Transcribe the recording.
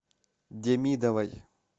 демидовой